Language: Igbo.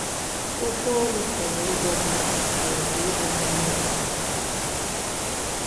Òkwú ónù pùrū ìgwọ́ m̀madù mà ọ̀bù ìmérū m̀madù àhù.